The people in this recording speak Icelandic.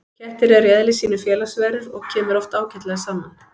Kettir eru í eðli sínu félagsverur og kemur oft ágætlega saman.